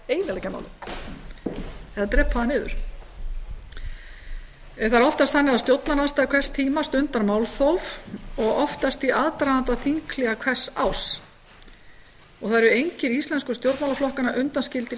eyðileggja málið eða drepa það niður það er oftast þannig að stjórnarandstaða hvers tíma stundar málþóf og oftast í aðdraganda þinghléa hvers árs það er enginn íslensku stjórnmálaflokkanna undanskilinn í